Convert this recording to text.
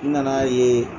N nana ye